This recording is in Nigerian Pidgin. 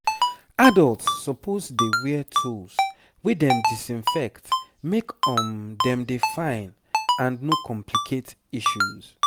adults supposedey wear tools wey dem disinfect make um dem dey fine and no complicate issues